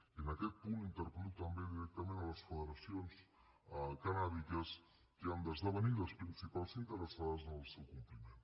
i en aquest punt interpel·lo també directament les federacions cannàbiques que han d’esdevenir les principals interessades en el seu compliment